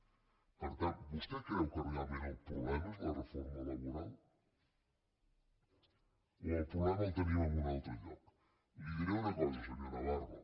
per tant vostè creu que realment el problema és la reforma laboral o el problema el tenim en un altre lloc li diré una cosa senyor navarro